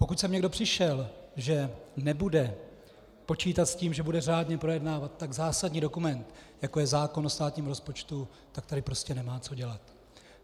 Pokud sem někdo přišel, že nebude počítat s tím, že bude řádně projednávat tak zásadní dokument, jako je zákon o státním rozpočtu, tak tady prostě nemá co dělat.